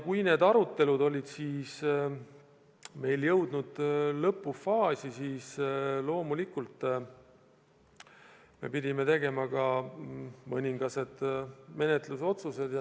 Kui need arutelud olid meil jõudnud lõpufaasi, siis me loomulikult pidime tegema ka menetlusotsused.